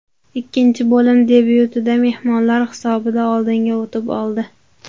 Ikkinchi bo‘lim debyutida mehmonlar hisobda oldinga o‘tib oldi.